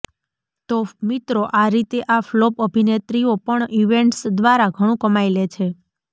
તો મિત્રો આ રીતે આ ફ્લોપ અભિનેત્રીઓ પણ ઇવેન્ટસ દ્વારા ઘણું કમાઈ લે છે